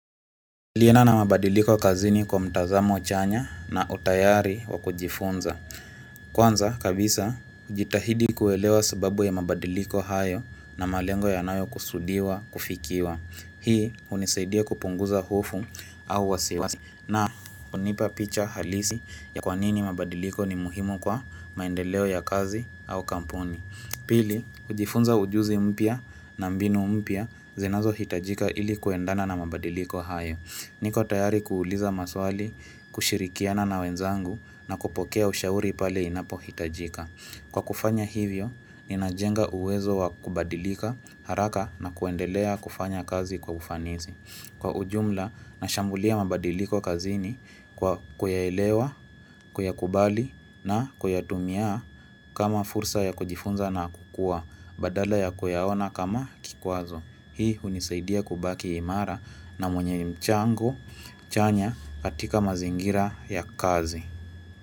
Laendana na mabadiliko kazini kwa mtazamo chanya na utayari wa kujifunza. Kwanza, kabisa, jitahidi kuelewa sababu ya mabadiliko hayo na malengo yanayo kusudiwa, kufikiwa. Hii, unisaidia kupunguza hofu au wasiwasi. Na, hunipa picha halisi ya kwa nini mabadiliko ni muhimu kwa maendeleo ya kazi au kampuni. Pili, ujifunza ujuzi mpya na mbinu mpya zinazo hitajika ili kuendana na mabadiliko hayo. Niko tayari kuuliza maswali, kushirikiana na wenzangu na kupokea ushauri pale inapo hitajika. Kwa kufanya hivyo, ninajenga uwezo wa kubadilika haraka na kuendelea kufanya kazi kwa ufanizi. Kwa ujumla, nashambulia mabadiliko kazini kwa kuyaelewa, kuyakubali na kuyatumia kama fursa ya kujifunza na kukua. Badala ya kuyaona kama kikwazo. Hii unisaidia kubaki imara na mwenye mchango, chanya katika mazingira ya kazi.